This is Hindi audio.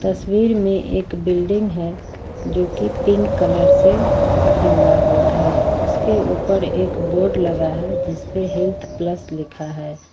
तस्वीर में एक बिल्डिंग है जोकि पिंक कलर से रंगा हुआ है उसके ऊपर एक बोर्ड लगा है जिसपे हेल्थप्लस लिखा है।